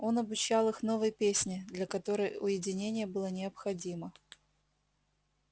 он обучал их новой песне для которой уединение было необходимо